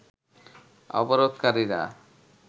অবরোধকারীরা